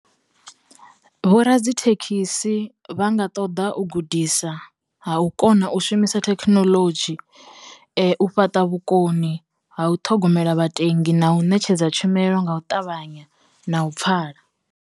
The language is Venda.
Vhoradzithekhisi vha nga ṱoḓa u gudisa ha u kona u shumisa thekhinolodzhi, u fhaṱa vhukoni ha u ṱhogomela vhatendi, na u ṋetshedza tshumelo nga u ṱavhanya na u pfhala.